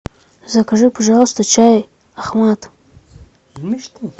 закажи пожалуйста чай ахмат